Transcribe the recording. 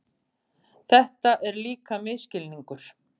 Þetta er líka misskilningur.